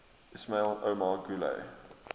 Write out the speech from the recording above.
ismail omar guelleh